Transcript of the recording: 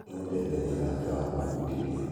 Nĩaendete wĩra wake wa gũfundithia